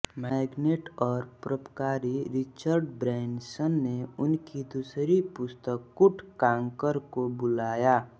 magnet और परोपकारी Richard Branson ने उनकी दूसरी पुस्तक कुट कांकर को बुलाया